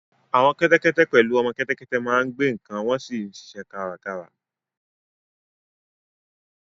Àwọn kẹ́tẹ́kẹ́tẹ́ pẹ̀lú ọmọ kẹ́tẹ́kẹ́tẹ́ máa ń gbé nǹkan wọ́n sì ń ṣiṣẹ́ kárakára